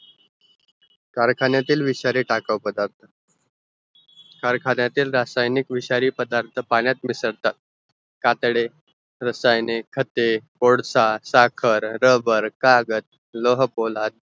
कारखाणेतील विषारी टाकावं पदार्त कारखरणेतील रासायनिक विषारी पदार्त पाण्यात मिसळतात कातडे, रासायनिक, खते, वोडसा, साकर, रबर, कागद, लोह पोलाद